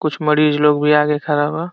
कुछ मरीज लोग भी आगे खड़ा बा।